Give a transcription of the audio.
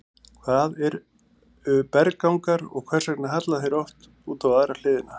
Hvað eru berggangar og hvers vegna halla þeir oft út á aðra hliðina?